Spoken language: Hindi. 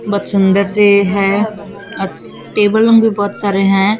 बहुत सुंदर सी है अ टेबल लो बहुत सारे हैं।